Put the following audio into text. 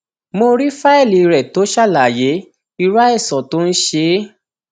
mo rí fáìlì rẹ tó ṣàlàyé irú àìsàn tó ń ṣe é